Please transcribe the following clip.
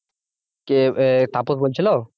কে আহ তাপস বলছিল?